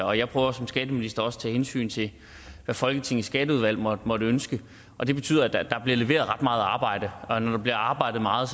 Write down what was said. og jeg prøver som skatteminister også at tage hensyn til hvad folketingets skatteudvalg måtte måtte ønske og det betyder at der bliver leveret ret meget arbejde og når der bliver arbejdet meget